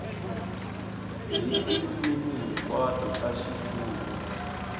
hi tindzimi hinkwato ta ximfumo